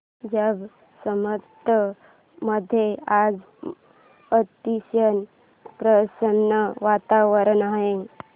जांब समर्थ मध्ये आज अतिशय प्रसन्न वातावरण आहे